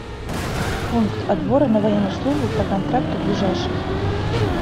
пункт отбора на военную службу по контракту ближайший